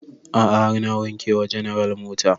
A'a har na wanke wa general mota